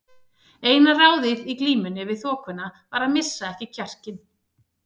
Eina ráðið í glímunni við þokuna var að missa ekki kjarkinn.